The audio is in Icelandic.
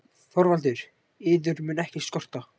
ÞORVALDUR: Yður mun ekkert skorta.